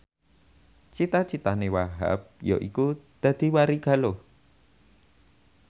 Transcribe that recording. cita citane Wahhab yaiku dadi warigaluh